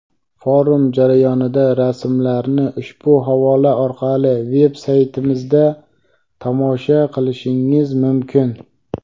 Forum jarayonidan rasmlarni ushbu havola orqali veb saytimizda tomosha qilishingiz mumkin.